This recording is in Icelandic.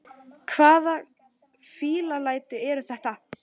Hvaða fíflalæti eru þetta!